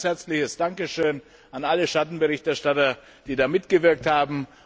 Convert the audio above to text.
Dafür ein herzliches Dankeschön an alle Schattenberichterstatter, die hier mitgewirkt haben.